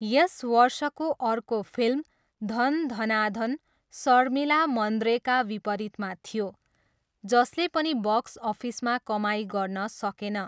यस वर्षको अर्को फिल्म धन धना धन शर्मिला मन्द्रेका विपरीतमा थियो, जसले पनि बक्स अफिसमा कमाइ गर्न सकेन।